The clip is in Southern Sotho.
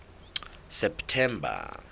september